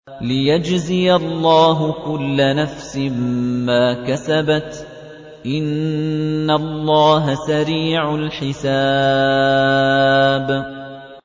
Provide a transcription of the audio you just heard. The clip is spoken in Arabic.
لِيَجْزِيَ اللَّهُ كُلَّ نَفْسٍ مَّا كَسَبَتْ ۚ إِنَّ اللَّهَ سَرِيعُ الْحِسَابِ